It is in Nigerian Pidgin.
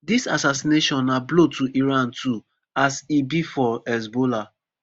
dis assassination na blow to iran too as e be for hezbollah